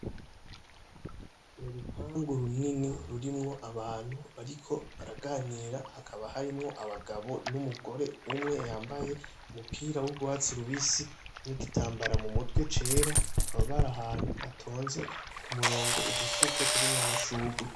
Urupangu runini rurimwo abantu bariko baraganira hakaba harimwo abagabo n'umugore umwe yambaye umupira w'urwatsi rubisi nigitambara mu mutwe cera bakaba bari ahantu batonze kumurongo udufuko turimwo amashurwe.